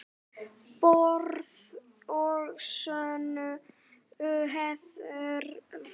Borð að sönnu hefur fat.